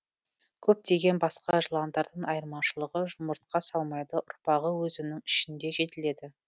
көптеген басқа жыландардан айырмашылығы жұмыртқа салмайды ұрпағы өзінің ішінде жетіледі